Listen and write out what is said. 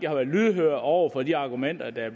har været lydhøre over for de argumenter der er